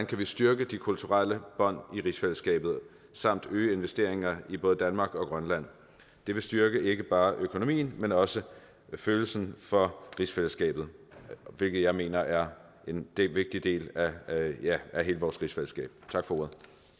kan styrke de kulturelle bånd i rigsfællesskabet samt øge investeringer i både danmark og grønland det vil styrke ikke bare økonomien men også følelsen for rigsfællesskabet hvilket jeg mener er en vigtig del af hele vores rigsfællesskab tak for ordet